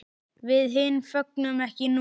Við hin fögnum ekki núna.